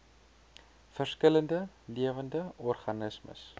verskillende lewende organismes